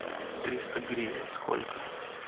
триста гривен сколько